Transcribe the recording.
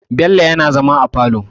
Bello yana zama a falo.